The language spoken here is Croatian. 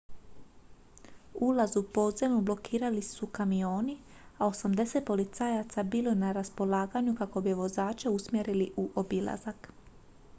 ulaz u podzemnu blokirali su kamioni a 80 policajaca bilo je na raspolaganju kako bi vozače usmjerili u obilazak